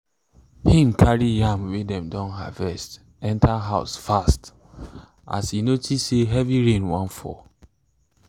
him carry yam way dem don harvest enter house fast as e notice say heavy rain wan fall